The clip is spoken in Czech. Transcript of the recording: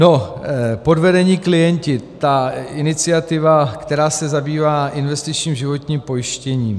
No, Podvedení klienti, ta iniciativa, která se zabývá investičním životním pojištěním.